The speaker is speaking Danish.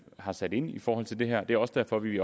har sat ind i forhold til det her og det er også derfor vi